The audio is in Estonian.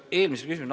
Aitäh!